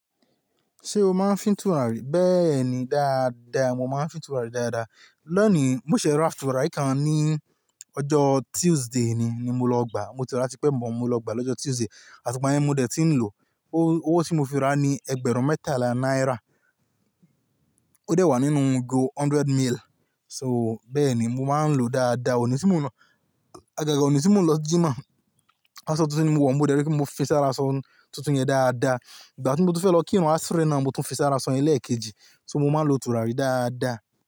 Ṣé o máa ń fín tùràrí? Bẹ́ẹ̀ni dáadáa, mo máa ń fín tùràrí dáadáa. Lónìí mo sì ra tùràrí kan ní ọjọ́ Tuesday ni, ni mo lọ gbà. Mo ti rà á tipẹ́ but, mo lọ gbà á lọ́jọ́ Tuesday. Àti igbà yen ní mo dè tí ń lò. Owó tí mo fi rà á ni ẹgbẹ̀rún mẹ́tàlá náírà. Ó dẹ̀ wà nínú igo hundred mil. So bẹ́ẹ̀ ni, mo máa ń lò ó dáadáa. Òní tí mò ń lọ-- àgàgà òní tí mò ń lọ jímà, asọ tuntun ni mo wọ̀ ń mọ̀ dẹ́rí pé mo fi sára aṣọ tuntun yẹn dáadáa. Ìgbà tí mo ti fẹ́ lọ kí àwọn asri náà, mo tún fi sára aṣọ yẹn lẹ́ẹ̀kejì. So mo máa ń lo tùràrí dáadáa.